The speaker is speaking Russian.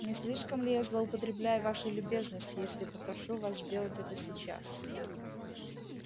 не слишком ли я злоупотребляю вашей любезностью если попрошу вас сделать это сейчас